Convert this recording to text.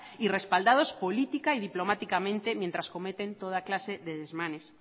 y respaldados política y diplomáticamente mientras cometen toda clase de desmanes